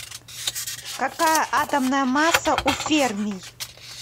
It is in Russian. какая атомная масса у фермий